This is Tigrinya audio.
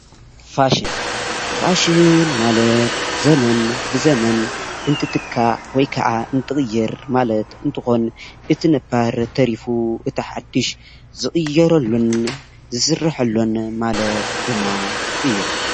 ፋሽን ፋሸን ማለት ዘመን ብዘመን እንትትካእ ወይ ካዓ እትትቕየር ማለት እንትኾን እቲ ነባር ተሪፉ እቲ ሓዱሽ ዝቕየረሉን ዝስረሐሉን ማለት ድማ እዩ ።